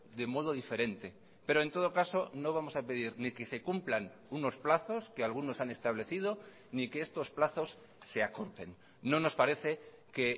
de modo diferente pero en todo caso no vamos a pedir ni que se cumplan unos plazos que algunos han establecido ni que estos plazos se acorten no nos parece que